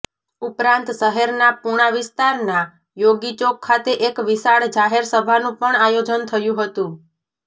ઉપરાંત શહેરના પુણા વિસ્તારના યોગીચોક ખાતે એક વિશાળ જાહેર સભાનું પણ આયોજન થયું હતું